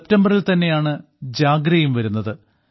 സെപ്റ്റംബറിൽ തന്നെയാണ് ജാഗ്രയും വരുന്നത്